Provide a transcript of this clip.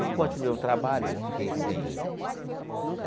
Não continuei o trabalho que eu fiquei sem.